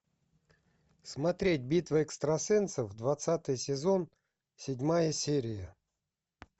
смотреть битва экстрасенсов двадцатый сезон седьмая серия